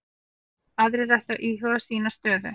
Aðrir ættu að íhuga sína stöðu